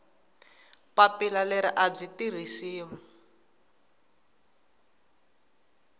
papila leri a byi tirhisiwi